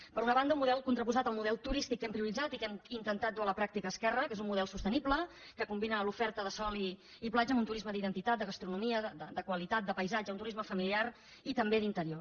per una banda un model contraposat al model turístic que hem prioritzat i que hem intentat dur a la pràctica esquerra que és un model sostenible que combina l’oferta de sol i platja amb un turisme d’identitat de gastronomia de qualitat de paisatge un turisme familiar i també d’interior